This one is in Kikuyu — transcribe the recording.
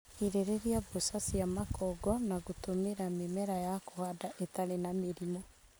Girĩrĩria mboca cia makongo na gũtũmira mĩmera ya kũhanda ĩtarĩ na mĩrimu,